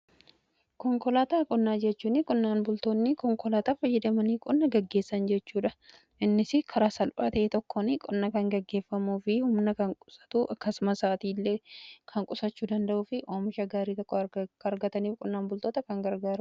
Konkolaataa qonnaa jechuun qonnaan bultoonni konkolaataa fayyadamanii qonna gaggeessan jechuudha. Innis karaa salphaatae tokkon qonna kan gaggeeffamuu fi humna kan qusatu akkasumas saatii illee kan qusachuu danda'uu fi oomsha gaarii tokko argataniif qonnaan bultoota kan garagarudha.